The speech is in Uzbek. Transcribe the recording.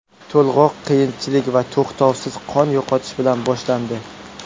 To‘lg‘oq qiyinchilik va to‘xtovsiz qon yo‘qotish bilan boshlandi.